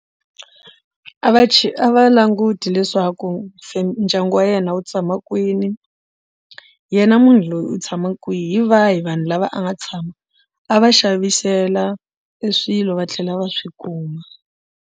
A va a va languti leswaku ndyangu wa yena wu tshama kwini yena munhu loyi u tshama kwihi hi vahi vanhu lava a nga tshama a va xavisela e swilo va tlhela va swi kuma.